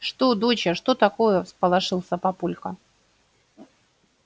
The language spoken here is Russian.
что доча что такое всполошился папулька